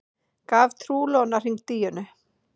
Gaf trúlofunarhring Díönu